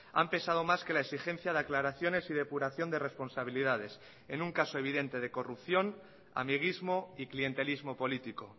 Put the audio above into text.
han pesado más que la exigencia de aclaraciones y depuración de responsabilidades en un caso evidente de corrupción amiguismo y clientelismo político